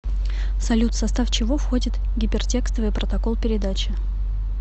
салют в состав чего входит гипертекстовый протокол передачи